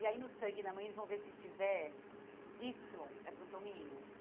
E aí, no sangue da mãe, eles vão ver se tiver Y, é porque é um menino.